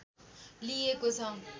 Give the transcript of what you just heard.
लिइएको छ।